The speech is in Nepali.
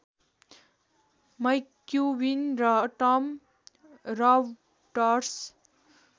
मैक्युबिन र टम रबर्ट्स